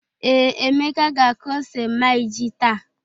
Ee, Emeka ga-akụ ose ma iji táá.